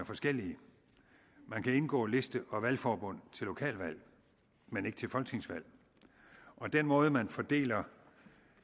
forskellige man kan indgå liste og valgforbund til lokalvalg men ikke til folketingsvalg og den måde man fordeler